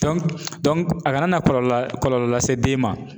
a kana na kɔlɔlɔ kɔlɔlɔ lase den ma